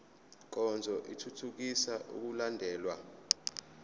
nkonzo ithuthukisa ukulandelwa